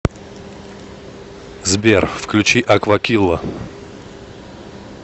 сбер включи аквакилла